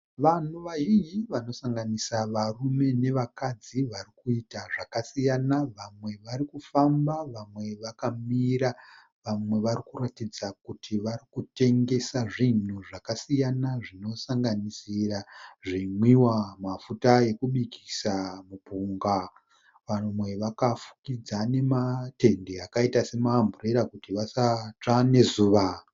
Vanhu vazhinji vanosanganisira varume nevakadzi vari kuita zvakasiyana vamwe vari kufamba vamwe vakamira vamwe vari kuratidza kuti vari kutengesa zvinhu zvakasiyana zvinosanganisira zvinwiwa, mafuta ekubikisa, mupunga. Vamwe vakafukidza nematende akaita semaamburera kuti vasatsve nezuva.